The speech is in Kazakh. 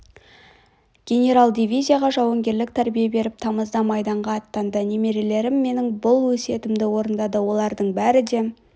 генерал дивизияға жауынгерлік тәрбие беріп тамызда майданға аттанды немерелерім менің бұл өсиетімді орындады олардың бәрі де